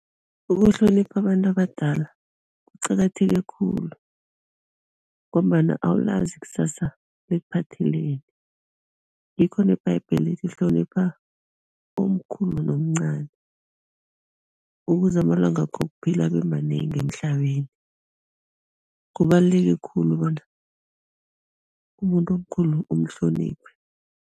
Ukuhlonipha abantu abadala kuqakatheke khulu ngombana awulazi ikusasa likuphatheleni, ngikho nebhayibheli lithi hlonipha omkhulu nomcani, ukuze amalangako wokuphila abe manengi emhlabeni, kubaluleke khulu bona umuntu omkhulu umhloniphe.